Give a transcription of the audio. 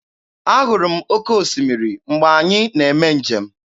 Ahụrụ m oke osimiri mgbe anyị na-eme njem.